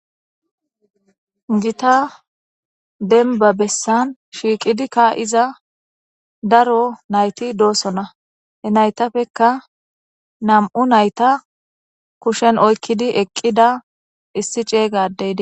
gita denba bessan shiiqidikka iza daro nayti doosona he naytafeka nam7u nayta kushen oykkidi eqqida issi ceeygadeyi